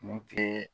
Ni kile